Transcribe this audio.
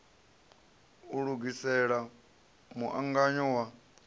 u lugisela mu angano wa